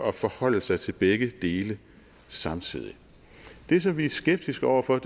at forholde sig til begge dele samtidig det som vi er skeptiske over for